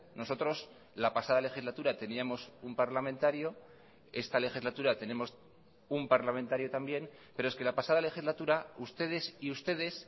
nosotros la pasada legislatura teníamos un parlamentario esta legislatura tenemos un parlamentario también pero es que la pasada legislatura ustedes y ustedes